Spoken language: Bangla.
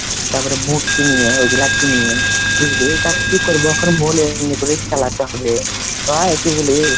তারপরে boot কিনে ওইগুলা কিনি ওগলা কিনি বুঝলি তার কি করব এমনি করেই চালাতে হবে লই কি বলিস ?